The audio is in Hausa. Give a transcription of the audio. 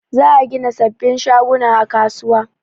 Za a gina sabin shaguna a kasuwa